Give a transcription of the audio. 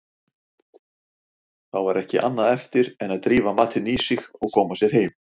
Þá var ekki annað eftir en drífa matinn í sig og koma sér heim.